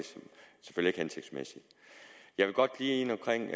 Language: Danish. ikke hensigtsmæssigt jeg vil godt lige ind omkring